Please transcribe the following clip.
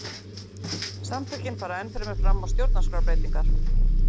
Samtökin fara enn fremur fram á stjórnarskrárbreytingar